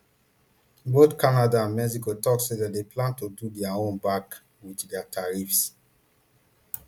both canada and mexico tok say dem dey plan to do dia own back wit dia tariffs